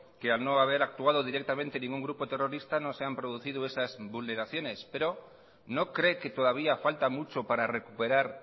que al no haber actuado directamente ningún grupo terrorista no se han producido esas vulneraciones pero no cree que todavía falta mucho para recuperar